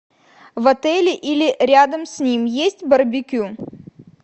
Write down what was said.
в отеле или рядом с ним есть барбекю